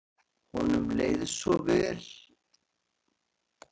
Honum leið vel hérna svo hann vildi koma aftur.